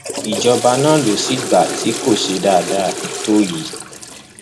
ìjọba náà ló sì gba ti kó ṣe dáadáa tó yìí